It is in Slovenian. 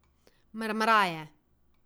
Mrmraje.